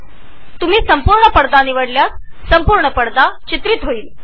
जर तुम्ही full screen निवडले तर संपूर्ण पडद्यावर कॅप्चरींग होईल